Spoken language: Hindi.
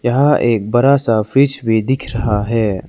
यहां एक बड़ा सा फिश भी दिख रहा है।